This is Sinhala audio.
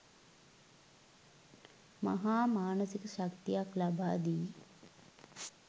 මහා මානසික ශක්තියක් ලබාදී,